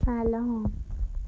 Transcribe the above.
алло